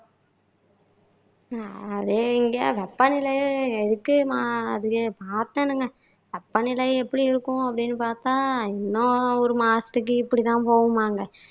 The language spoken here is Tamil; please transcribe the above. அதே இங்க வெப்ப நிலை எதுக்கு மாதிரி பாத்தேனுங்க வெப்பநிலை எப்படி இருக்கும்னு பாத்தா இன்னும் ஒரு மாசத்துக்கு இப்படி தான் போகுமாங்க